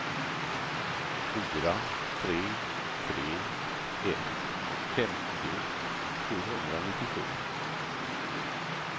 fyra tre tre ett femtio sjuhundranittiosju